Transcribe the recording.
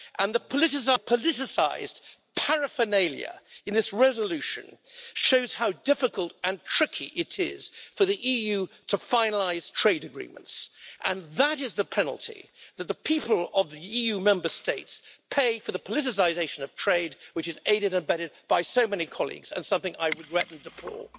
The politicised paraphernalia in this resolution shows how difficult and tricky it is for the EU to finalise trade agreements, and that is the penalty that the people of the EU Member States pay for the politicisation of trade, which is aided and abetted by so many colleagues and is something I deplore.